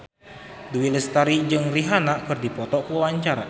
Dewi Lestari jeung Rihanna keur dipoto ku wartawan